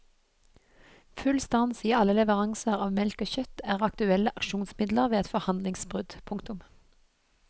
Full stans i alle leveranser av melk og kjøtt er aktuelle aksjonsmidler ved et forhandlingsbrudd. punktum